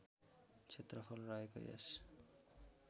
क्षेत्रफल रहेको यस